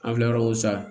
An filɛ yɔrɔ min sa